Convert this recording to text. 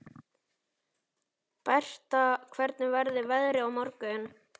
Bertha, hvernig verður veðrið á morgun?